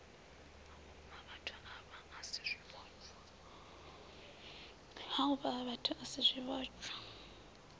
hafhuvhathu havha a si zwivhotshwa